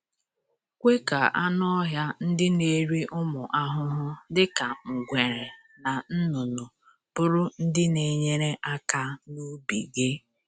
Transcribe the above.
Kwe ka anụ ọhịa ndị na-eri ụmụ ahụhụ dịka ngwere na nnụnụ bụrụ ndị na-enyere aka n’ubi gị.